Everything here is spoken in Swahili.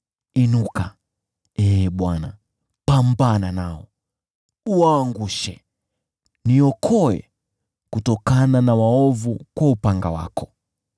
Inuka, Ee Bwana , pambana nao, uwaangushe, niokoe kutokana na waovu kwa upanga wako.